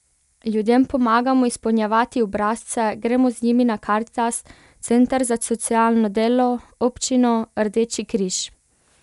Ljudem pomagamo izpolnjevati obrazce, gremo z njimi na Karitas, center za socialno delo, občino, Rdeči križ.